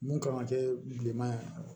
Mun kan ka kɛ bilenman ye